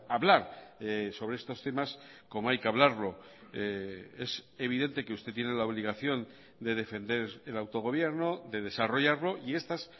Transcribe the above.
hablar sobre estos temas como hay que hablarlo es evidente que usted tiene la obligación de defender el autogobierno de desarrollarlo y estas